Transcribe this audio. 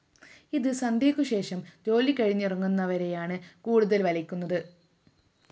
ഇത് സന്ധ്യയ്ക്കു ശേഷം ജോലി കഴിഞ്ഞിറങ്ങുന്നവരെയാണ് കൂടുതല്‍ വലയ്ക്കുന്നത്